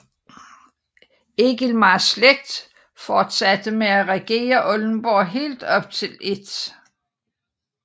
Egilmars slægt fortsatte med at regere Oldenborg helt op til 1